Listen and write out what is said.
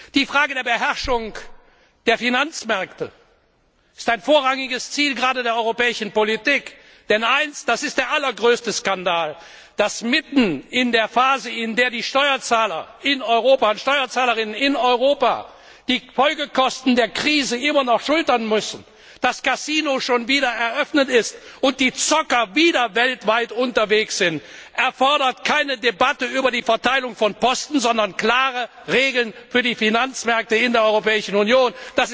Die Frage der Beherrschung der Finanzmärkte ist ein vorrangiges Ziel gerade der europäischen Politik, denn der allergrößte Skandal ist, dass mitten in der Phase, in der die Steuerzahlerinnen und Steuerzahler in Europa die Folgekosten der Krise weiterhin schultern müssen, das Kasino schon wieder geöffnet ist und die Zocker wieder weltweit unterwegs sind. Das erfordert keine Debatte über die Verteilung von Posten, sondern klare Regeln für die Finanzmärkte in der Europäischen Union.